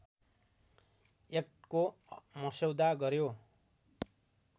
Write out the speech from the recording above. एक्टको मस्यौदा गर्‍यो